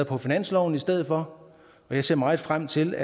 på finansloven i stedet for og jeg ser meget frem til